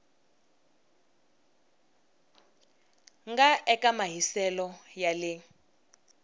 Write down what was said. nga eka mahiselo ya le